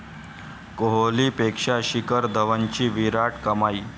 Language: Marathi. कोहलीपेक्षा शिखर धवनची 'विराट' कमाई